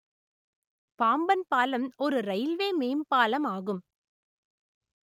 பாம்பன் பாலம் ஒரு ரயில்வே மேம்பாலம் ஆகும்